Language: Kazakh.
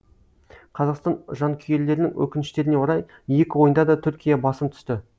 қазақстан жанкүйерлерінің өкініштеріне орай екі ойында да түркия басым түсті